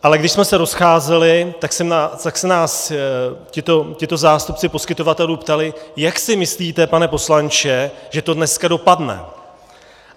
Ale když jsme se rozcházeli, tak se nás tito zástupci poskytovatelů ptali - jak si myslíte, pane poslanče, že to dneska dopadne?